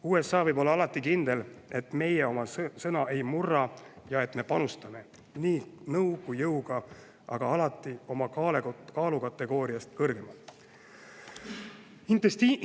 USA võib olla alati kindel, et meie oma sõna ei murra ja et me panustame nõu ja jõuga alati oma kaalukategooriast kõrgemal.